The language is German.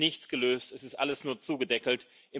Es ist nichts gelöst, es ist alles nur zugedeckelt.